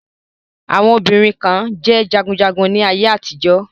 Àwọn obìnrin kan jẹ́ jagunjagun ní ayé àtijọ́.